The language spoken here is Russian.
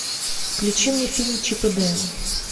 включи мне фильм чип и дейл